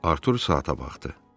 Artur saata baxdı.